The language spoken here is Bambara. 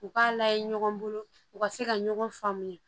U k'a layɛ ɲɔgɔn bolo u ka se ka ɲɔgɔn faamuya